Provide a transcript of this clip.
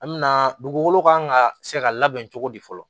An me na dugukolo kan ka se ka labɛn cogo di fɔlɔ